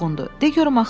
De görüm axı nə olub?